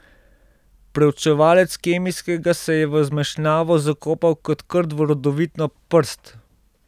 Preučevalec kemijskega se je v zmešnjavo zakopal kot krt v rodovitno prst.